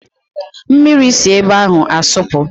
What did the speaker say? Mmiri si ebe ahụ asọpụ